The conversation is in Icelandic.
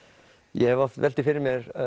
ég hef oft velt því fyrir mér